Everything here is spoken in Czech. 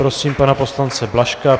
Prosím pana poslance Blažka.